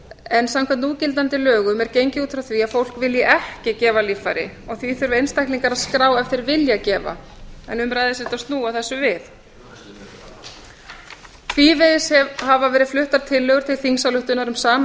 en samkvæmt núgildandi árum er gengið út frá því að fólk vilji ekki gefa líffæri og því þurfi einstaklingar að skrá ef þeir vilja gefa en um ræðir sem sagt að snúa þessu við tvívegis hafa verið fluttar tillögur til þingsályktunar um sama